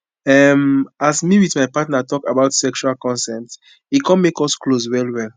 um as me with my partner talk about sexual consent e come make us close well well